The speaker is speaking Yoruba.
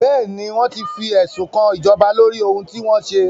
Bẹ́ẹ̀ni, wọ́n ti fẹ̀sùnkan ìjọba lóri ohun tí wọ́n ṣe.